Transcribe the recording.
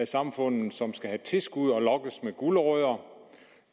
samfundet som skal have tilskud og lokkes med gulerødder